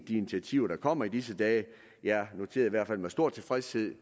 de initiativer der kommer i disse dage jeg noterede hvert fald med stor tilfredshed